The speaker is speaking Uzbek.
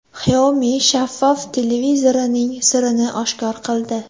Xiaomi shaffof televizorining sirini oshkor qildi.